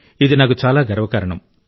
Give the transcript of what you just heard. ఇది నాకు చాలా గర్వకారణం